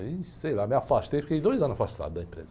Aí, sei lá, me afastei, fiquei dois anos afastado da empresa.